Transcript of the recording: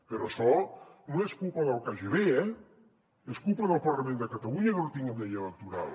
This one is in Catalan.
però això no és culpa del kgb eh és culpa del parlament de catalunya que no tinguem llei electoral